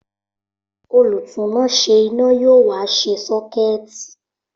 Olùtúnáṣé iná yóò wá ṣe sọ́kẹ̀tì